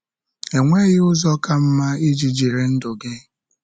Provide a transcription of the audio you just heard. Enweghị ụzọ ka mma iji jiri ndụ gị.